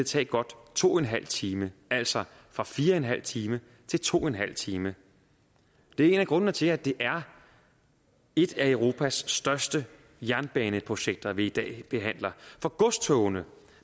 tage godt to en halv time altså fra fire en halv time til to en halv time det er en af grundene til at det er et af europas største jernbaneprojekter vi i dag behandler for godstogene